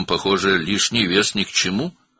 Bəs orada, görünür, artıq çəki lazım deyil?